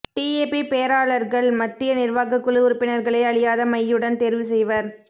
DAP பேராளர்கள் மத்திய நிர்வாகக் குழு உறுப்பினர்களை அழியாத மையுடன் தேர்வு செய்வர்